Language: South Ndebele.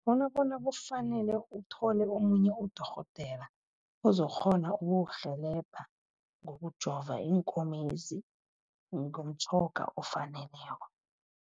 Bona bona kufanele uthole omunye udorhodera ozokukghona ukukurhelebha, ngokujova iinkomezi ngemitjhoga efaneleko.